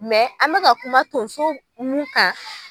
an bɛ ka kuma tonso mun kan.